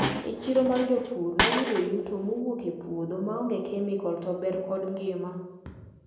E chiro mar jopur nayudo yuto mowuok e puodho maonge kemikol to ber kod ngima.